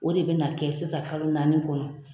O de bina kɛ sisan kalo naani kɔnɔ